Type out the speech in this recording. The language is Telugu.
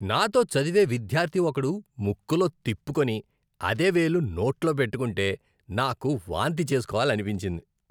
నాతో చదివే విద్యార్ధి ఒకడు ముక్కులో తిప్పుకొని అదే వేలు నోట్లో పెట్టుకుంటే నాకు వాంతి చేస్కోవాలనిపించింది.